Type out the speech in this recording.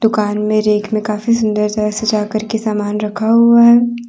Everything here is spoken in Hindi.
दुकान में रेक में काफी सुंदर सा सजा करके सामान रखा हुआ है।